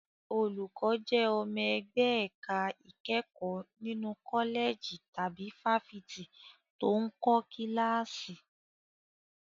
Olùkọ́ jẹ́ ọmọ ẹgbẹ́ ẹ̀ka ìkẹ́kọ̀ọ́ nínú kọ́lẹ̀jì tàbí fáfitì tó ń kọ́ kíláàsì.